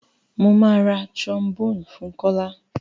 Mọ má rá trombone fún Kọla.